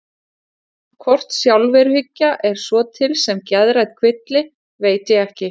Hvort sjálfsveruhyggja er svo til sem geðrænn kvilli veit ég ekki.